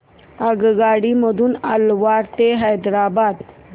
आगगाडी मधून अलवार ते हैदराबाद